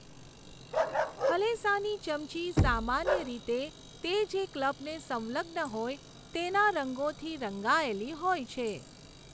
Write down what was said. હલેસાંની ચમચી સામાન્ય રીતે તે જે ક્લબને સંલગ્ન હોય તેના રંગોથી રંગાયેલી હોય છે.